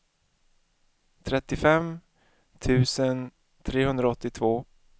trettiofem tusen trehundraåttiotvå